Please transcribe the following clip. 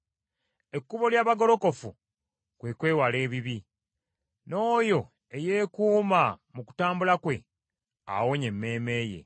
Ekkubo ly’abagolokofu kwe kwewala ebibi, n’oyo eyeekuuma mu kutambula kwe, awonya emmeeme ye.